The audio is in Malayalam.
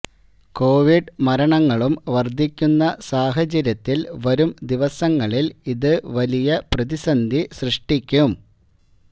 കോവിഡ് മരണങ്ങളും വർധിക്കുന്ന സാഹചര്യത്തിൽ വരും ദിവസങ്ങളിൽ ഇത് വലിയ പ്രതിന്ധി സൃഷ്ടിക്കും